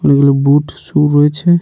অনেকগুলো boot shoe রয়েছে।